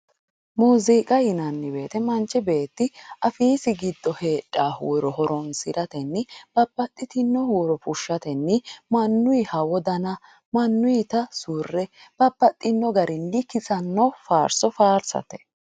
muuziiqa yinanni woyte manchi beetti afiisi giddo heedhanno huuro horonsi'ratenni babbaxxitino huuro fushshatenni mannuyiha wodana, mannuyita surre babbaxxino garinni kissanno faarso faarsate.